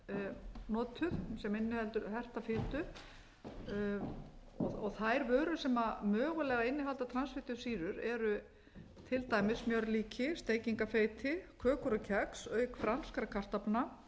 er notuð sem inniheldur herta fitu og þær vörur sem mögulega innihalda transfitusýrur eru til dæmis smjörlíki steikingarfeiti kökur og kex auk franskra kartaflna